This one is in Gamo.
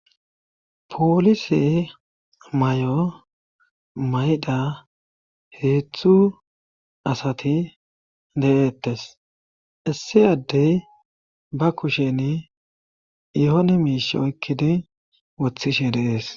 poolise may7o mayda heeththu asati de7ettes issi addey ba kusheni yoone miish oykkidi wothishe deees